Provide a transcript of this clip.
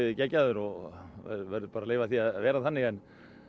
geggjaður og verður bara að leyfa því að vera þannig en